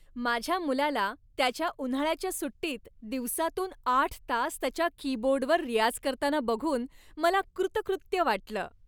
माझ्या मुलाला त्याच्या उन्हाळ्याच्या सुट्टीत दिवसातून आठ तास त्याच्या कीबोर्डवर रियाज करताना बघून मला कृतकृत्य वाटलं.